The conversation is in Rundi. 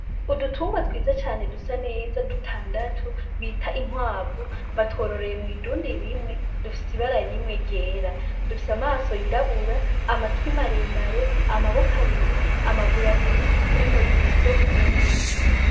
Udutungwa twiza cane dusaneza dutandatu bita inkwavu batwororeye mw'idundi rimwe dufise ibara rimwe ryera. Dufise amaso yirabura, amatwi maremare, amaboko abiri, amaguru abiri n'umurizo umwe.